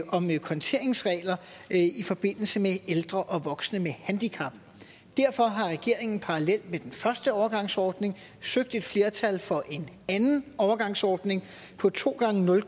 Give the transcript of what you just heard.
om konteringsregler i forbindelse med ældre og voksne med handicap derfor har regeringen parallelt med den første overgangsordning søgt et flertal for en anden overgangsordning på to gange nul